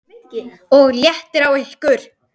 OG LÉTTIR Á YKKUR!